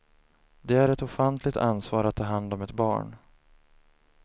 Det är ett ofantligt ansvar att ta hand om ett barn.